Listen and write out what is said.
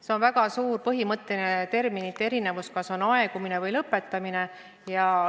See on väga suur põhimõtteline terminite erinevus, kas on aegumine või lõpetamine.